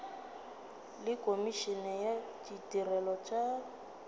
le komišene ya ditirelo tša